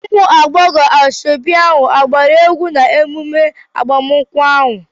ụmụ agbọghọ asoebi agbara egwu n'emume agbamakwụkwọ ahụ?